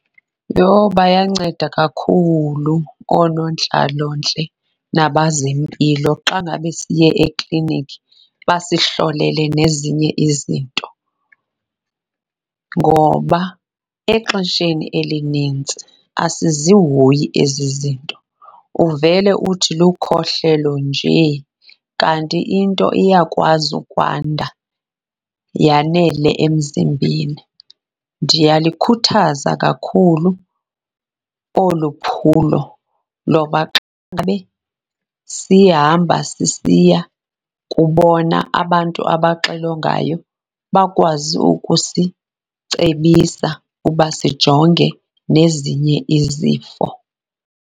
Yho, bayanceda kakhulu oonontlalontle nabazempilo xa ngabe siye ekliniki basihlole nezinye izinto. Ngoba exesheni elinintsi asizihoyi ezi zinto, uvele uthi lukhohlelo nje kanti into iyakwazi ukwanda yanele emzimbeni. Ndiyalikhuthaza kakhulu olu phulo loba xa sihamba sisiya kubona abantu abaxilongayo bakwazi ukusicebisa ukuba sijonge nezinye izifo.